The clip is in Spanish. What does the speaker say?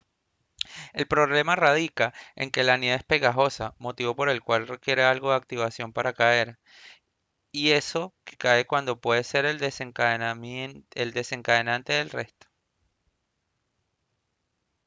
el problema radica en que la nieve es pegajosa motivo por el cual requiere algo de activación para caer y eso que cae puede ser el desencadenante del resto